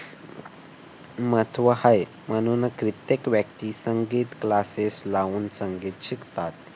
महत्त्व आहे. म्हणूनच कित्येक व्यक्ती संगीत classes लावून संगीत शकतात.